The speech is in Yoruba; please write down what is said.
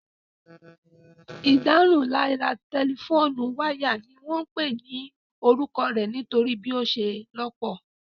Ìdárunlárà tẹlifóònù wáyà ni wọ́n pè ní orúkọ rẹ̀ nítorí bí ó ṣe lọ́pọ̀